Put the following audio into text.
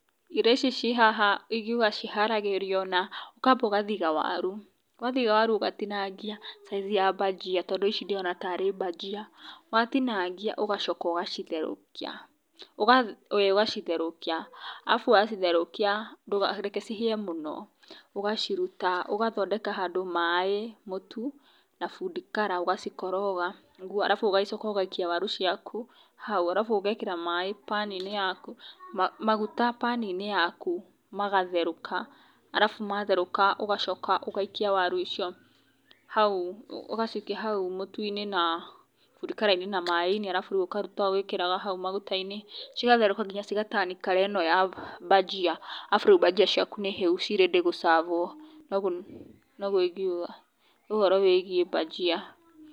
Irio ici ciĩ haha ingĩuga ciharagĩrio, na ũkamba ũgathiga waru, wathiga waru ũgatinagia size ya mbanjia tondũ ici ndĩrona tarĩ mbajia, watinagia ũgacoka ũgacitherũkia, ũgacoka ĩĩ ũgacitherũkia, arabu wacitherũkia ndũkareke cihĩe mũno, ũgaciruta ũgathondeka handũ maaĩ, mũtu na food color ũgacikoroga, arabu ũgacoka ũgaikia waru ciaku hau, arabu ũgekĩra maaĩ pan -inĩ yaku, maguta pan -inĩ yaku magatherũka, arabu matherũka ũgacoka ũgaikia waru icio hau, ũgacikia hau mũtu-inĩ na food colour-inĩ na maaĩ-inĩ, arabu rĩu ũkaruta ũgĩkĩraga hau maguta-inĩ, cigatherũka nginya ciga turn colour ĩno ya banjia, arabu rĩu banjia ciaku nĩhĩu ci ready gũcabwo, no ũguo noguo ingĩuga ũhoro wĩgiĩ banjia.